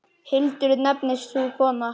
Hildur nefnist sú kona.